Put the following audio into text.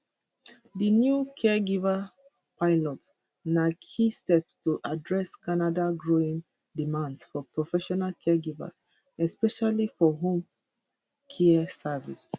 di new caregiver pilots na key step to address canada growing demand for professional caregivers especially for home care services